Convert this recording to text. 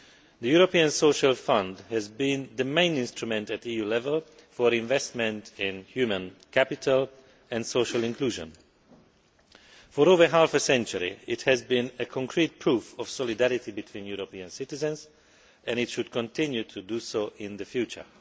The European Social Fund has been the main instrument at EU level for investment in human capital and social inclusion. For over half a century, it has been a concrete proof of solidarity between European citizens and it should continue to be so in the future.